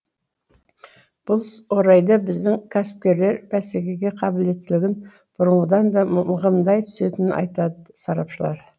бұл орайда біздің кәсіпкерлер бәсекеге қабілеттілігін бұрынғыдан да мығымдай түсетінін айтады сарапшылар